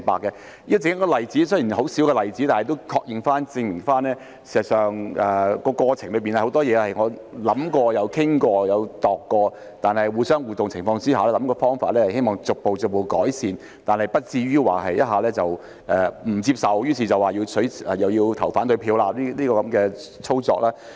這雖然只是一個很細小的例子，但亦可確認及證明，事實上，在過程中有很多事情，我們都有思考過、討論過及研究過，在互動的情況下，希望可以設法逐步改善，但不至於一下子便不接受，說要投反對票。